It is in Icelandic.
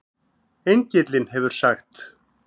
Engillinn hefur sagt